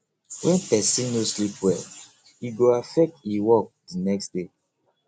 when pesin no sleep well e go affect e work the next day